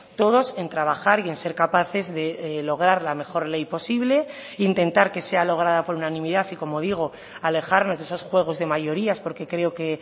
todos en trabajar y en ser capaces de lograr la mejor ley posible intentar que sea lograda por unanimidad y como digo alejarnos de esos juegos de mayorías porque creo que